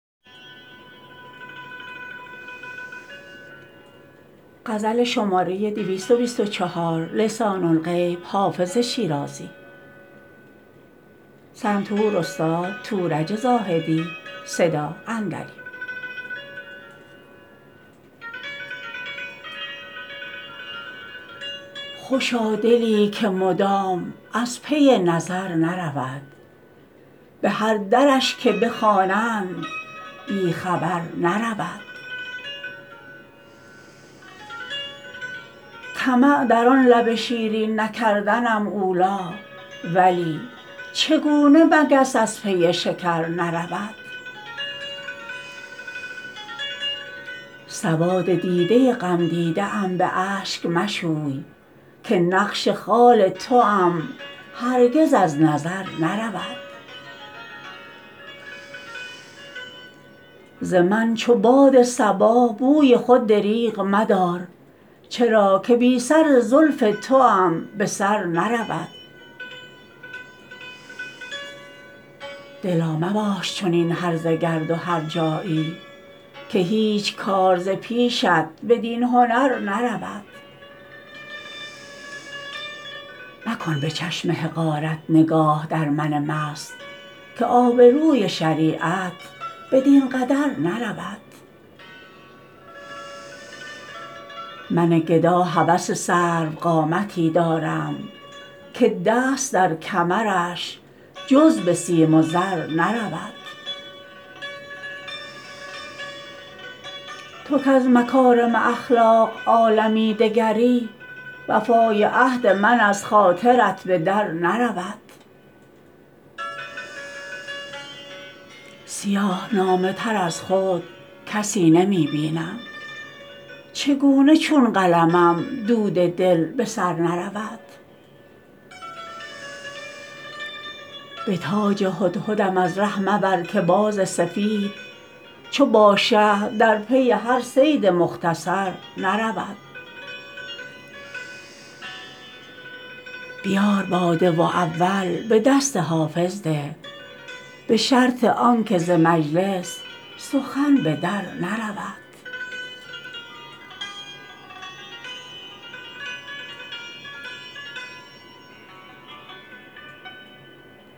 خوشا دلی که مدام از پی نظر نرود به هر درش که بخوانند بی خبر نرود طمع در آن لب شیرین نکردنم اولی ولی چگونه مگس از پی شکر نرود سواد دیده غمدیده ام به اشک مشوی که نقش خال توام هرگز از نظر نرود ز من چو باد صبا بوی خود دریغ مدار چرا که بی سر زلف توام به سر نرود دلا مباش چنین هرزه گرد و هرجایی که هیچ کار ز پیشت بدین هنر نرود مکن به چشم حقارت نگاه در من مست که آبروی شریعت بدین قدر نرود من گدا هوس سروقامتی دارم که دست در کمرش جز به سیم و زر نرود تو کز مکارم اخلاق عالمی دگری وفای عهد من از خاطرت به در نرود سیاه نامه تر از خود کسی نمی بینم چگونه چون قلمم دود دل به سر نرود به تاج هدهدم از ره مبر که باز سفید چو باشه در پی هر صید مختصر نرود بیار باده و اول به دست حافظ ده به شرط آن که ز مجلس سخن به در نرود